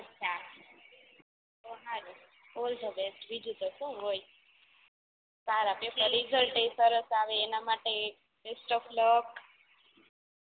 અછા તો સારું ઓલ ધ બેસ્ટ બીજું તો સુ હોય સારા પેપર રિજલ્ટ એ સરસ આવે એના માટે બેસ્ટ ઓફ લક